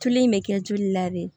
Tulu in bɛ kɛ joli la de